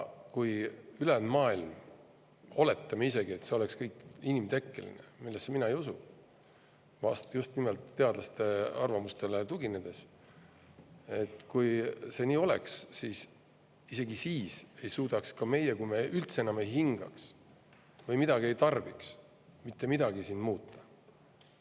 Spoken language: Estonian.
Kui me oletame, et see on kõik inimtekkeline – millesse mina ei usu, just nimelt teadlaste arvamustele tuginedes –, ikkagi ei suudaks meie, isegi siis, kui me üldse enam ei hingaks või midagi ei tarbiks, mitte midagi siin muuta.